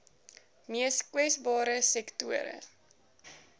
mees kwesbare sektore